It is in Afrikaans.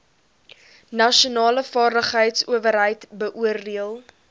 nasionale vaardigheidsowerheid beoordeel